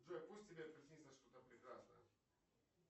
джой пусть тебе приснится что то прекрасное